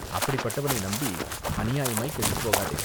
அப்படிப்பட்டவனை நம்பி அநியாயமாய்க் கெட்டுப் போகாதே